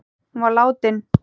Hún var látin.